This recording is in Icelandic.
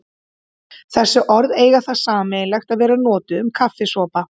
Þessi orð eiga það sameiginlegt að vera notuð um kaffisopa.